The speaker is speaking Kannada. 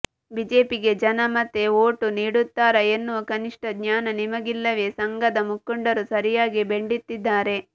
ಬಿಜೆಪಿಗೆ ಜನ ಮತ್ತೆ ವೋಟು ನೀಡುತ್ತಾರಾ ಎನ್ನುವ ಕನಿಷ್ಠ ಜ್ಞಾನ ನಿಮಗಿಲ್ಲವೇ ಸಂಘದ ಮುಖಂಡರು ಸರಿಯಾಗಿ ಬೆಂಡೆತ್ತಿದ್ದಾರೆ